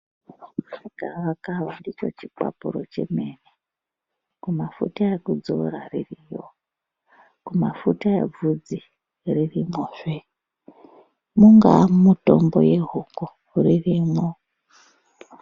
Gavakava ndicho chikwapuro chemene. Kumafuta ekudzora ririmwo, kumafuta ebvunzi ririmwozve, mungaa mumitombo yehuku ririmwo.